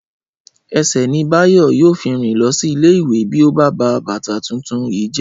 Ẹsẹ̀ ni Báyọ̀ yóò fi rìn lọ sí ilé ìwé bí ó bá ba bàtà tuntun yìí jẹ́